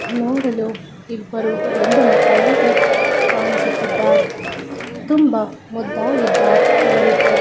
ನೋಡಲು ಇಬ್ಬರು ಗಂಡು ಮಕ್ಕಳಂತೆ ಕಾಣಿಸುತ್ತಿದ್ದಾರೆ. ತುಂಬಾ ಮುದ್ದಾಗಿದ್ದಾರೆ ಇವರಿಬ್ಬರು.